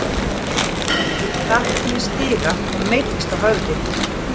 Þegar hún var lítil datt hún í stiga og meiddist á höfði.